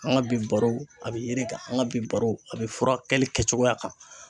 An ka bi baro, a bɛ yiri kan, an ka bi baro ,a bɛ furakɛli kɛ cogoya kan.